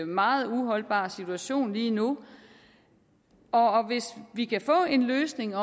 meget uholdbar situation lige nu hvis vi kan få en løsning